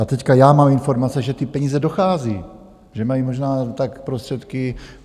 A teď já mám informace, že ty peníze dochází, že mají možná tak prostředky...